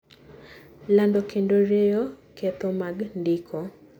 Lando kendo rieyo ketho mag ndiko